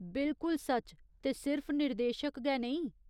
बिलकुल सच्च, ते सिर्फ निर्देशक गै नेईं।